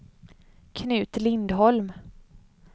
Knut Lindholm